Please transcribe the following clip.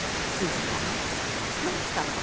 Siz sağ, mən salamat.